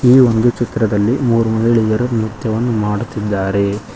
ಈ ಒಂದು ಚಿತ್ರದಲ್ಲಿ ಮೂರು ಮಹಿಳೆಯರು ನೃತ್ಯವನ್ನು ಮಾಡುತ್ತಿದ್ದಾರೆ.